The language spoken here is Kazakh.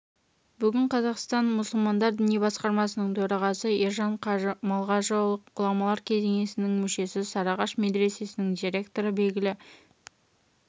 бүгін қазақстан мұсылмандары діни басқармасының төрағасы ержан қажы малғажыұлы ғұламалар кеңесінің мүшесі сарыағаш медресесінің директоры белгілі